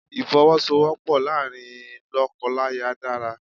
Ìfowọ́sowọ́pọ̀ láàárín lọ́kọláya dára.